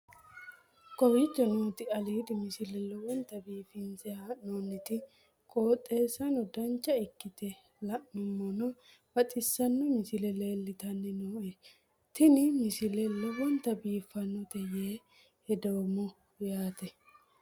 kowicho nooti aliidi misile lowonta biifinse haa'noonniti qooxeessano dancha ikkite la'annohano baxissanno misile leeltanni nooe ini misile lowonta biifffinnote yee hedeemmo yaate